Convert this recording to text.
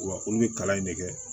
Wa olu bɛ kalan in ne kɛ